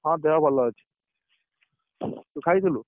ହଁ ଦେହ ଭଲ ଅଛି ତୁ ଖାଇଥିଲୁ?